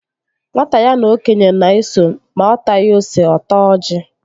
Nwata ya na okenye na-eso, ma ọ taghi ose, ọ taa ọji